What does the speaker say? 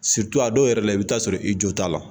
a dɔw yɛrɛ la i bɛ taa sɔrɔ i jo t'a la